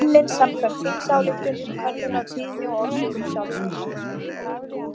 Hún var unnin samkvæmt þingsályktun um könnun á tíðni og orsökum sjálfsvíga.